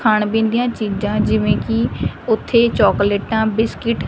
ਖਾਣ ਪੀਣ ਦੀਆਂ ਚੀਜ਼ਾਂ ਜਿਵੇਂ ਕਿ ਉੱਥੇ ਚੋਕਲੇਟਾਂ ਬਿਸਕਿਟ --